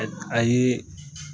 Ɛ a ye